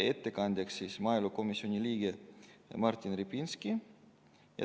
Ettekandjaks määrati maaelukomisjoni liige Martin Repinski.